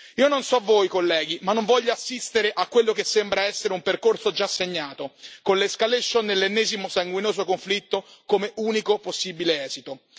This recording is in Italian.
Io non so voi, colleghi, ma non voglio assistere a quello che sembra essere un percorso già segnato con l'escalation dell'ennesimo sanguinoso conflitto come unico possibile esito.